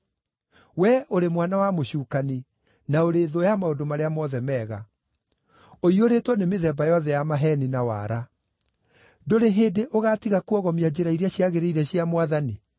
“Wee ũrĩ mwana wa mũcukani na ũrĩ thũ ya maũndũ marĩa mothe mega! Ũiyũrĩtwo nĩ mĩthemba yothe ya maheeni na waara. Ndũrĩ hĩndĩ ũgaatiga kuogomia njĩra iria ciagĩrĩire cia Mwathani?